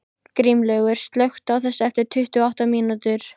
Grímlaugur, slökktu á þessu eftir tuttugu og átta mínútur.